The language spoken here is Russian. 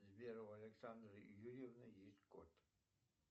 сбер у александры юрьевны есть кот